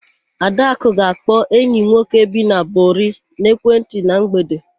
Adakụ ga-akpọ enyi nwoke bi na Bori n'ekwentị na mgbede.